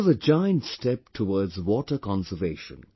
This is a giant step towards water conservation